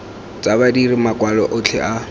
tsa badiri makwalo otlhe a